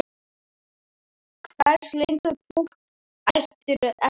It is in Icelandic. Hversu löng pútt áttirðu eftir?